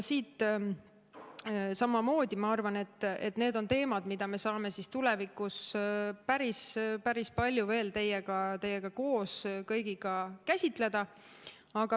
Samamoodi ma arvan, et need on teemad, mida me saame tulevikus päris palju veel teie kõigiga koos käsitleda.